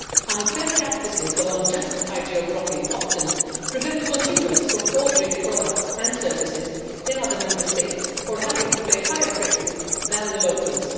Unfair practices of unjustified geo blocking often prevent consumers from ordering a product and services in other Member States or having to pay higher prices than the locals.